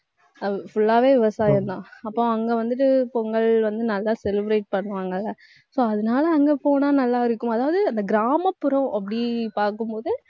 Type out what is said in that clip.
full ஆவே விவசாயம்தான். அப்போ அங்க வந்துட்டு பொங்கல் வந்து நல்லா celebrate பண்ணுவாங்கல்ல so அதனால அங்க போனா நல்லா இருக்கும். அதாவது, அந்த கிராமப்புறம் அப்படி பார்க்கும் போது,